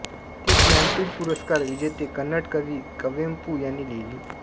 ती ज्ञानपीठ पुरस्कार विजेते कन्नड कवी कुवेंपू यांनी लिहिली